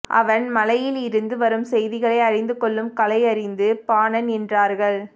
அவன் மலையிலிருந்து வரும் செய்திகளை அறிந்துகொள்ளும் கலையறிந்த பாணன் என்றார்கள்